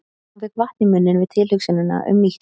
Hún fékk vatn í munninn við tilhugsunina um nýtt kjöt.